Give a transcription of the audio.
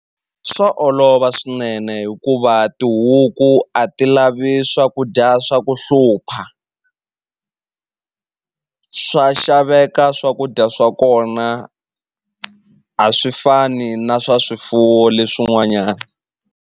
Swa olova swinene hikuva tihuku a ti lavi swakudya swa ku hlupha swa xaveka swakudya swa kona a swi fani na swa swifuwo leswin'wanyani.